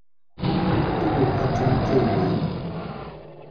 Tuguk achon cheiywei